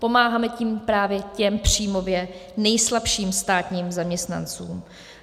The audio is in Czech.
Pomáháme tím právě těm příjmově nejslabším státním zaměstnancům.